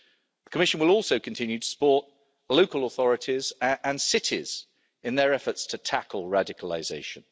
The Commission will also continue to support local authorities and cities in their efforts to tackle radicalisation.